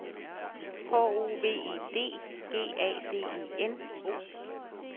H O V E D G A D E N